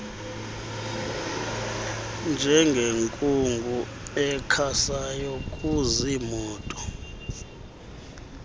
njengenkungu ekhasayo kuziimoto